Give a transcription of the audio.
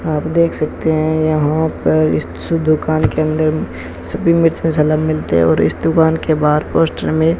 आप देख सकते हैं यहां पर इस दुकान के अंदर सभी मिर्च मसाला मिलते हैं और इस दुकान के बाहर पोस्टर में --